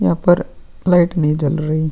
यहां पर लाइट नहीं जल रही --